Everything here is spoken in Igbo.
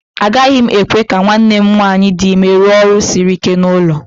Agaghị m ekwe ka nwanne m nwanyị dị ime rụọ ọrụ siri ike n'ụlọ